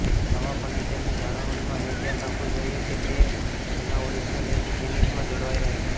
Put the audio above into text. આવા ફર્નિચરની જાળવણીમાં એ ધ્યાન રાખવું જાઈએ કે તે તેના ઓરિજીનલ એજ ફિનિશમાં જળવાઈ રહે